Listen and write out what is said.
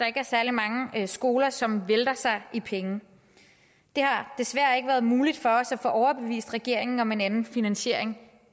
ikke er særlig mange skoler som vælter sig i penge det har desværre endnu ikke været muligt for os at få overbevist regeringen om en anden finansiering